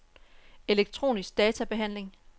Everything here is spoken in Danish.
elektronisk databehandling